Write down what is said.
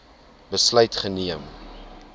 besluit geneem